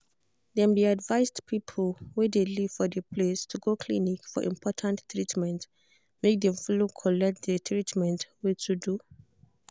dem de advised people wey de live for de place to go clinic for important treatment make dem follow collect de treatment wey to do.